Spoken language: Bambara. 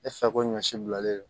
E fɛ ko ɲɔ si bilalen don